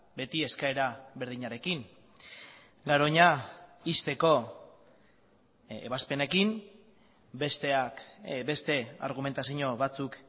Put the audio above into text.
beti eskaera berdinarekin garoña ixteko ebazpenekin besteak beste argumentazio batzuk